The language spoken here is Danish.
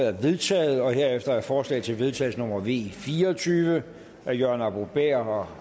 er vedtaget her efter forslag til vedtagelse nummer v fire og tyve af jørgen arbo bæhr og